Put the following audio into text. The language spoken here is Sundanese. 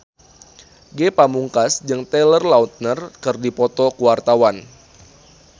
Ge Pamungkas jeung Taylor Lautner keur dipoto ku wartawan